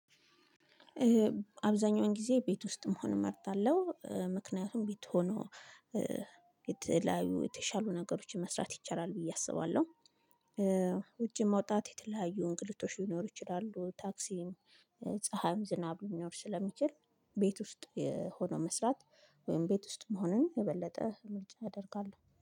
አብዛኛውን ጊዜ ቤት ውስጥ መሆን እመርጣለሁ ምክንያቱም ቤት ሆኖ የተለያዩ የተሻሉ ነገሮችን መስራት ይቻላል ብዬ አስባለሁ። ውጪ መውጣት የተለያዩ እንግልቶች ሊኖሩ ይችላሉ። ታክሲም ፀሀይም ዝናብ ሊኖር ስለሚችል ቤት ውስጥ የሆነው መስራት። ወይም ቤት ውስጥ መሆንን የበለጠ ምርጫ አደርጋለሁ